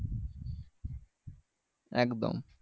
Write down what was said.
একদম